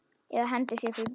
Eða hendi sér fyrir bíl.